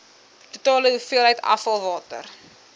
totale hoeveelheid afvalwater